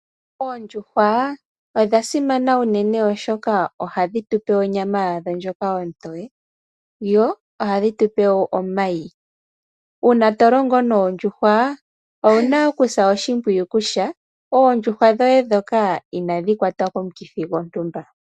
Oondjuhwa odha simana unene oshoka ohadhi tu pe onyama yadho ndjoka ontowe, yo ohadhi tu pe wo omayi. Uuna to longo noondjuhwa owu na okusa oshimpwiyu kutya oondjuhwa dhoye dhoka, inadhi kwatwa komukithi gwontumba.